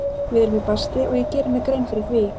Við erum í basli og ég geri mér grein fyrir því.